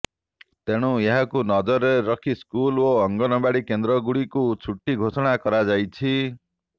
ତେଣୁୁ ଏହାକୁ ନଜରରେ ରଖି ସ୍କୁଲ ଓ ଅଙ୍ଗନାବାଡି କେନ୍ଦ୍ର ଗୁଡିକୁ ଛୁଟି ଘୋଷଣା କରାଯାଇଛି